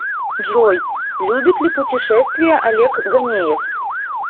джой любит ли пушетествия олег гонеев